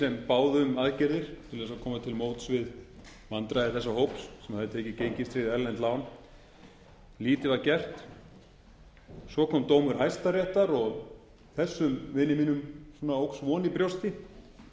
sem báðu um aðgerðir til þess að koma til móts við vandræði þessa hóps sem hafði tekið gengistryggð erlend lán lítið var gert svo kom dómur hæstaréttar þessum vini mínum óx von í brjósti